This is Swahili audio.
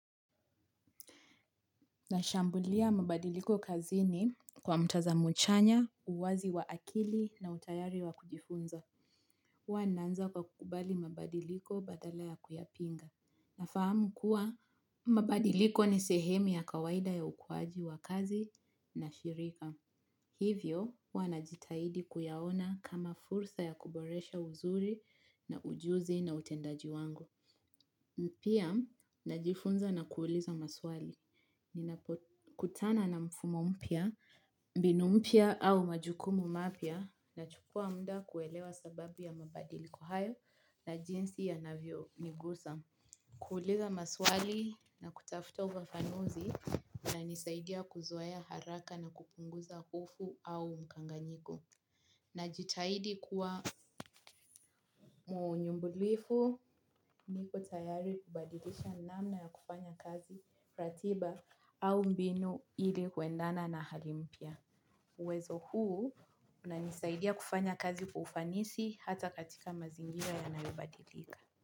Nashambulia mabadiliko kazini kwa mtazamo chanya, uwazi wa akili na utayari wa kujifunza. Huwa naanza kwa kukubali mabadiliko badala ya kuyapinga. Fahamu kuwa mabadiliko ni sehemu ya kawaida ya ukuaji wa kazi na shirika. Hivyo huwa najitahidi kuyaona kama fursa ya kuboresha uzuri na ujuzi na utendaji wangu. Pia, najifunza na kuuliza maswali. Ninakutana na mfumo mpya, mbinu mpya au majukumu mapya, nachukua mda kuelewa sababu ya mabadiliko hayo na jinsi yanavyonigusa. Kuuliza maswali na kutafuta ufafanuzi kunanisaidia kuzoea haraka na kupunguza ufu au mkanganyiko. Najitahidi kuwa mnyumbulifu niko tayari kubadilisha namna ya kufanya kazi ratiba au mbinu ili kuendana na hali mpya. Uwezo huu unanisaidia kufanya kazi kwa ufanisi hata katika mazingira yanayobadilika.